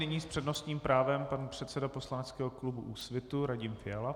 Nyní s přednostním právem pan předseda poslaneckého klubu Úsvitu Radim Fiala.